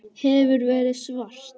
Hefur verið svart.